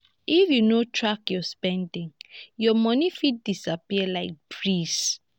if you no track your spending your money fit disappear like breeze.